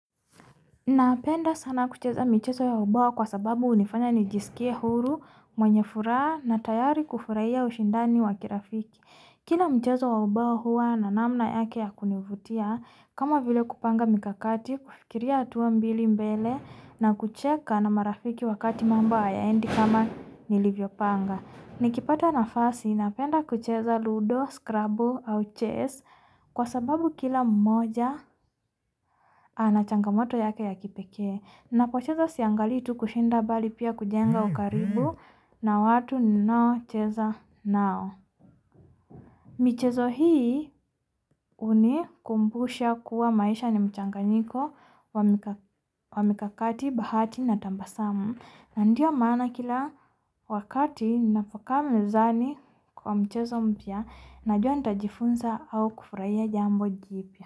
Napenda sana kucheza michezo ya ubawa kwa sababu hunifanya nijisikie huru, mwenye furaha na tayari kufurahia ushindani wa kirafiki. Kila mchezo ya obawa huwa na namna yake ya kunivutia, kama vile kupanga mikakati, kufikiria hatuwa mbili mbele na kucheka na marafiki wakati mambo hayaendi kama nilivyopanga. Nikipata nafasi, napenda kuchezo ludo, skrabu au chess kwa sababu kila mmoja ana changamoto yake ya kipekee. Napochezo siangalii tu kushinda mbali pia kujenga ukaribu na watu ninaochezo nao. Mchezo hii hunikumbushia kuwa maisha ni mchanganyiko wa mikakati bahati na tabasamu. Na ndio maana kila wakati ninapokaa mezani kwa mchezo mpya, najua nitajifunza au kufurahia jambo jipya.